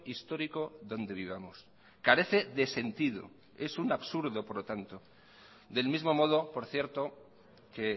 histórico donde vivamos carece de sentido es un absurdo por lo tanto del mismo modo por cierto que